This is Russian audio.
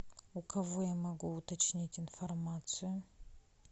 у кого я могу уточнить информацию